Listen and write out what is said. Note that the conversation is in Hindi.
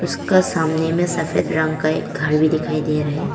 उसका सामने में सफेद रंग का एक घर भी दिखाई दे रहा है।